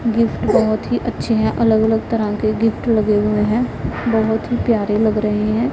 Gift बहोत ही अच्छे हैं अलग अलग तरह के गिफ्ट लगे हुए हैं बहोत ही प्यारे लग रहे हैं।